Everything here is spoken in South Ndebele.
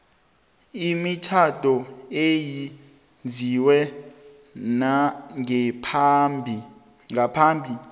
imitjhado eyenziwe ngaphambi